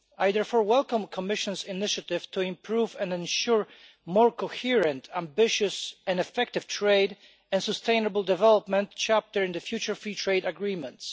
I therefore welcome the Commission's initiative to improve and ensure more coherent, ambitious and effective trade and the sustainable development chapter in the future free trade agreements.